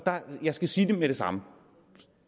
jeg skal sige med det samme